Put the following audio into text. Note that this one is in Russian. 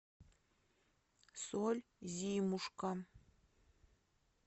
соль зимушка